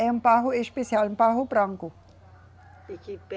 É um barro especial, um barro branco.